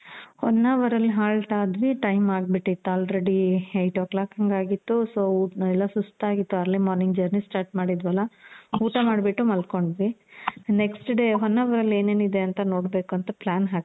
ಹೊನ್ನಾವರ್ ಅಲ್ಲಿ halt ಆದ್ವಿ. time ಆಗ್ಬಿಟ್ಟಿತ್ತು already eight o clock ಹಂಗಾಗಿತ್ತು. so ಸುಸ್ತಾಗಿತ್ತು early morning journey start ಮಾಡಿದ್ವಲ, ಊಟ ಮಾಡ್ಬಿಟ್ಟು ಮಲ್ಕೊಂಡ್ವಿ.next day ಹೊನ್ನಾವರ್ ಅಲ್ಲಿ ಏನೇನ್ ಇದೆ ಅಂತ ನೋಡ್ಬೇಕು ಅಂತ plan